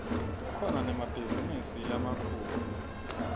kukhona nemabhizinisi lamakhulu